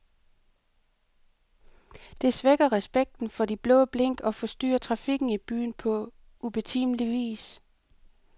Det svækker respekten for de blå blink og forstyrrer trafikken i byen på ubetimelig vis.